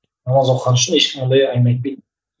намаз оқыған үшін ешкім ондай әңгіме айтпайтын